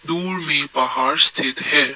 दूर में पहाड़ स्थित है।